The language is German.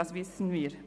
Das wissen wir.